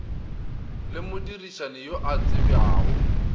le modirišani yo a tsebjago